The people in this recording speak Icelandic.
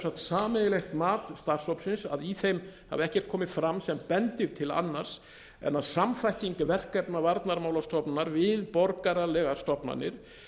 sameiginlegt mat starfshópsins að í þeim hafi ekkert komið fram sem bendi til annars en að samþætting verkefna varnarmálastofnunar við borgaralegar stofnanir